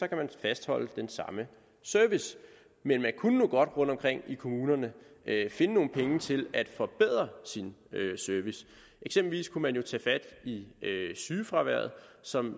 kan man fastholde den samme service men man kunne nu godt rundtomkring i kommunerne finde nogle penge til at forbedre sin service eksempelvis kunne man tage fat i sygefraværet som